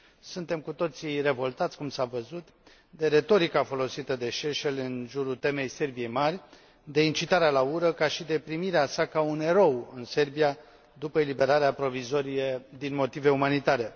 Suntem cu toții revoltați, cum s a văzut, de retorica folosită de Šešelj în jurul temei Serbiei mari, de incitarea la ură, ca și de primirea sa ca un erou în Serbia după eliberarea provizorie din motive umanitare.